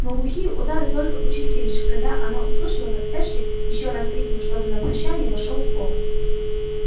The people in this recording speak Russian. но глухие удары только участились когда она услышала как эшли ещё раз крикнув что-то на прощание вошёл в холл